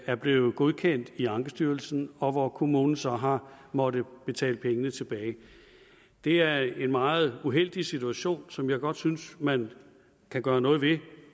er blevet godkendt i ankestyrelsen og hvor kommunen så har måttet betale pengene tilbage det er en meget uheldig situation som jeg godt synes man kan gøre noget ved